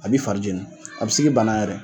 A bi farijeni a bi se k'i bana yɛrɛ